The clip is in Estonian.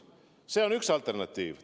See on üks alternatiiv.